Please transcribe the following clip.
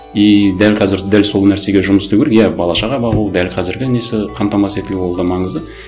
и дәл қазір дәл сол нәрсеге жұмыс істеу керек иә бала шаға бар ол дәл қазіргі несі қамтамасыз етілу ол да маңызды